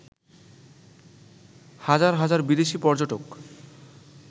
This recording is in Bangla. হাজার হাজার বিদেশি পর্যটক